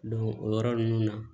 o yɔrɔ ninnu na